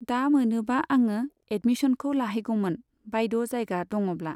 दा मोनोबा आङो एदमिसनखौ लाहैगौमोन बायद' जायगा दङब्ला।